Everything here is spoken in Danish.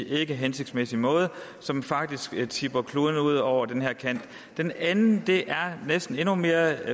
ikkehensigtsmæssig måde som faktisk vil tippe kloden ud over kanten den anden er næsten endnu mere